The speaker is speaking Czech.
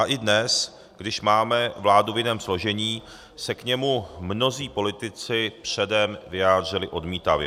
A i dnes, když máme vládu v jiném složení, se k němu mnozí politici předem vyjádřili odmítavě.